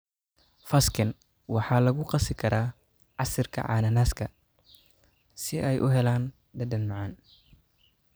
Fersken waxaa lagu qasi karaa casiirka cananaaska si ay u helaan dhadhan macaan.